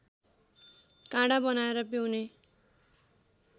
काँडा बनाएर पिउने